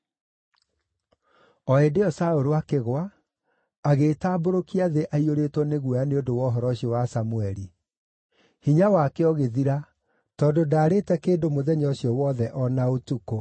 O hĩndĩ ĩyo Saũlũ akĩgũa, agĩĩtambũrũkia thĩ aiyũrĩtwo nĩ guoya nĩ ũndũ wa ũhoro ũcio wa Samũeli. Hinya wake ũgĩthira, tondũ ndaarĩĩte kĩndũ mũthenya ũcio wothe o na ũtukũ.